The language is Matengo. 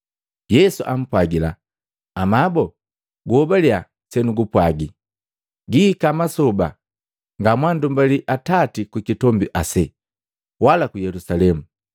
Yesu ampwagila, “Amabo, guhobalya senumpwagi, gihika masoba ngamwalumbali Atati kukitombi ase, wala ku Yelusalemu.